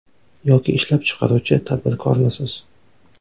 Yoki ishlab chiqaruvchi tadbirkormisiz?